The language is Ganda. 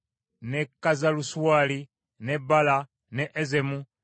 ne Kazalusuwali ne Bala, ne Ezemu,